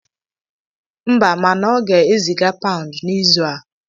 Mba, mana ọ ga-eziga paụnd n'izu a.